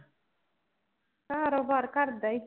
ਕਾਰੋਬਾਰ ਘਰ ਦਾ ਹੀ